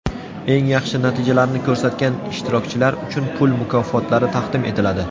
Eng yaxshi natijalarni ko‘rsatgan ishtirokchilar uchun pul mukofotlari taqdim etiladi.